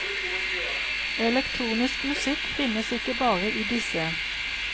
Elektronisk musikk finnes ikke bare i disse.